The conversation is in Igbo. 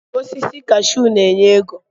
Osisi kashuu na-enye ego